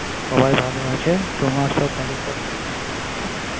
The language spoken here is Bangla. সবাই ভালো তোমার বাড়ির সব ঠিকঠাক আছেতো